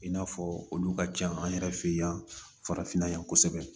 I n'a fɔ olu ka ca an yɛrɛ fɛ yan farafinna yan kosɛbɛ